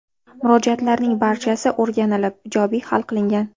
Murojaatlarning barchasi o‘rganlib ijobiy hal qilingan.